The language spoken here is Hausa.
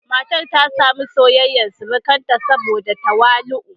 Matar ta sami soyayyar surukanta saboda tawali'u.